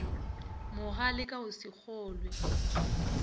mogale ka go se kgolwe